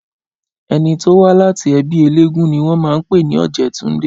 Ẹni tó wá láti ẹbí eléégún ni wọ́n máa ń pè ní Ọ̀jẹ̀túndé